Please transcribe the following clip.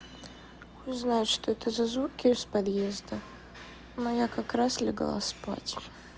узнать что это за звуки из подъезда но я как раз легла спать